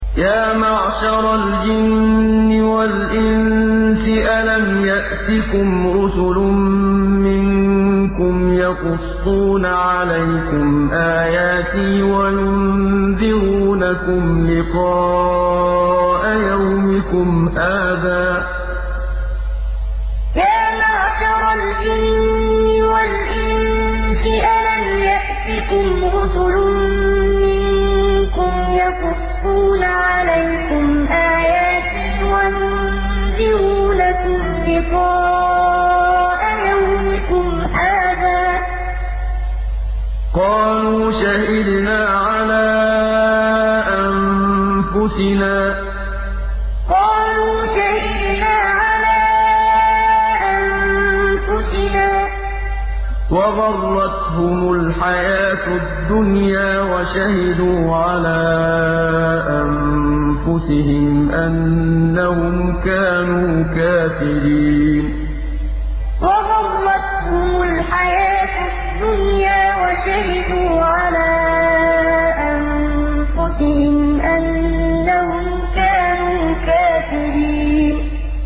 يَا مَعْشَرَ الْجِنِّ وَالْإِنسِ أَلَمْ يَأْتِكُمْ رُسُلٌ مِّنكُمْ يَقُصُّونَ عَلَيْكُمْ آيَاتِي وَيُنذِرُونَكُمْ لِقَاءَ يَوْمِكُمْ هَٰذَا ۚ قَالُوا شَهِدْنَا عَلَىٰ أَنفُسِنَا ۖ وَغَرَّتْهُمُ الْحَيَاةُ الدُّنْيَا وَشَهِدُوا عَلَىٰ أَنفُسِهِمْ أَنَّهُمْ كَانُوا كَافِرِينَ يَا مَعْشَرَ الْجِنِّ وَالْإِنسِ أَلَمْ يَأْتِكُمْ رُسُلٌ مِّنكُمْ يَقُصُّونَ عَلَيْكُمْ آيَاتِي وَيُنذِرُونَكُمْ لِقَاءَ يَوْمِكُمْ هَٰذَا ۚ قَالُوا شَهِدْنَا عَلَىٰ أَنفُسِنَا ۖ وَغَرَّتْهُمُ الْحَيَاةُ الدُّنْيَا وَشَهِدُوا عَلَىٰ أَنفُسِهِمْ أَنَّهُمْ كَانُوا كَافِرِينَ